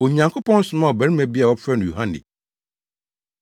Onyankopɔn somaa ɔbarima bi a wɔfrɛ no Yohane.